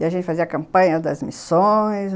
E a gente fazia a campanha das missões.